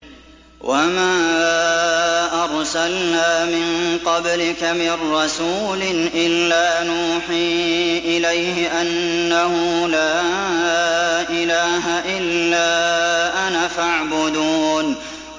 وَمَا أَرْسَلْنَا مِن قَبْلِكَ مِن رَّسُولٍ إِلَّا نُوحِي إِلَيْهِ أَنَّهُ لَا إِلَٰهَ إِلَّا أَنَا فَاعْبُدُونِ